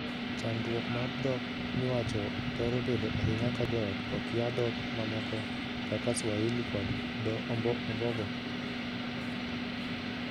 Chandruok mar dhok miwacho thoro bedo ahinya ka joot okia dhok mamoko kaka swahili kod dhoo ombogo.